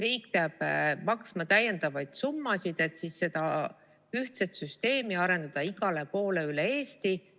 Riik peab maksma täiendavaid summasid, et seda ühtset süsteemi arendada igale poole üle Eesti.